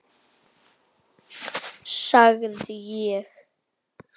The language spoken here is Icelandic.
sagði ég.